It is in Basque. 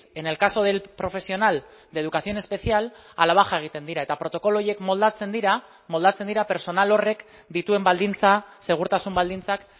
en el caso del profesional de educación especial a la baja egiten dira eta protokolo horiek moldatzen dira moldatzen dira pertsonal horrek dituen baldintza segurtasun baldintzak